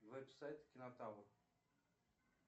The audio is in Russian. веб сайт кинотавр